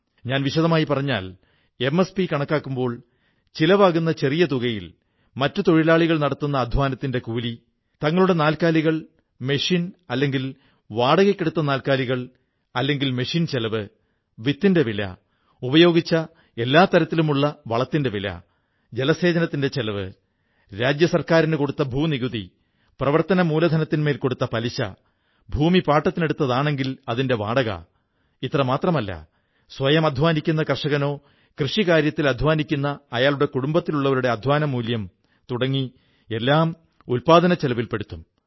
ഞാൻ വിശദമായി പറഞ്ഞാൽ എംഎസ്പി കണക്കാക്കുമ്പോൾ ചിലവാകുന്ന ചെറിയ തുകയിൽ മറ്റു തൊഴിലാളികൾ നടത്തുന്ന അധ്വാനത്തിന്റെ കൂലി തങ്ങളുടെ നാല്ക്കാലികൾ യന്ത്രങ്ങൾ അല്ലെങ്കിൽ വാടകയ്ക്കെടുത്ത നാൽക്കാലികൾ അല്ലെങ്കിൽ യന്ത്രത്തിന്റെ ചെലവ് വിത്തിന്റെ വില ഉപയോഗിച്ച എല്ലാ തരത്തിലുമുള്ള വളത്തിന്റെ വില ജലേസചനത്തിന്റെ ചെലവ് സംസ്ഥാന ഭൂനികുതി പ്രവർത്തന മൂലധനത്തിനുമേൽ കൊടുത്ത പലിശ ഭൂമി പാട്ടത്തിനെടുത്തതാണെങ്കിൽ അതിന്റെ വാടക ഇത്രമാത്രമല്ല സ്വയം അധ്വാനിക്കുന്ന കർഷകനോ കൃഷി കാര്യത്തിൽ അധ്വാനിക്കുന്ന അയാളുടെ കുടുബത്തിലുള്ളവരുടെ അധ്വാനമൂല്യം തുടങ്ങി എല്ലാം ഉത്പാദനച്ചെലവിൽ പെടുത്തും